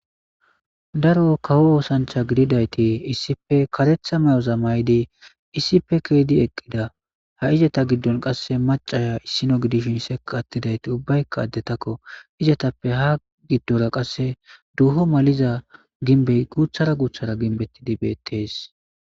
daro kawo oosancha gididayti issipe karetha may7o za maydi isipe keedi eqqida ha izata giddon qasse macaya issino gidishn seka attidayti ubbaykka addetakko izatappe ha giddora qasse duho maliza ginbe guuthara guuthara ginbettidi beettees